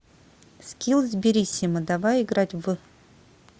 скилл сбериссимо давай играть в